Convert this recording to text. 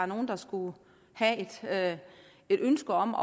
nogen der skulle have et ønske om